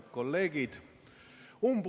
Head kolleegid!